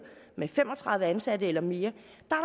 med fem og tredive ansatte eller mere